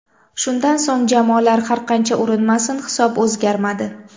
Shundan so‘ng jamoalar har qancha urinmasin hisob o‘zgarmadi.